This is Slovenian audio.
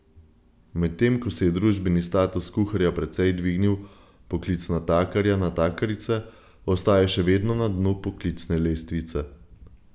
Medtem ko se je družbeni status kuharja precej dvignil, poklic natakarja, natakarice ostaja še vedno na dnu poklicne lestvice.